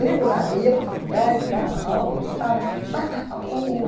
Tribulada, ia para a faculdade, dava aula, voltava.